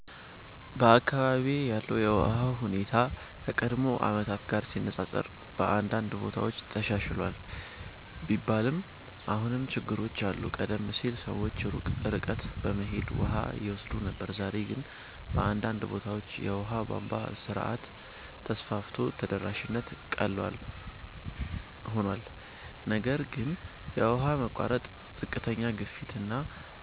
በአካባቢዬ ያለው የውሃ ሁኔታ ከቀድሞ ዓመታት ጋር ሲነፃፀር በአንዳንድ ቦታዎች ተሻሽሏል ቢባልም አሁንም ችግሮች አሉ። ቀደም ሲል ሰዎች ሩቅ ርቀት በመሄድ ውሃ ይወስዱ ነበር፣ ዛሬ ግን በአንዳንድ ቦታዎች የውሃ ቧንቧ ስርዓት ተስፋፍቶ ተደራሽነት ቀላል ሆኗል። ነገር ግን የውሃ መቋረጥ፣ ዝቅተኛ ግፊት እና